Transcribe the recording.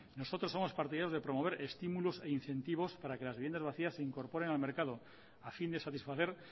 nosotros somos partidarios de promover estímulos e incentivos para que las viviendas vacías se incorporen al mercado a fin de satisfacer